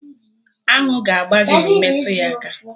Aṅụ ga-agba gị ma ị metụ ya aka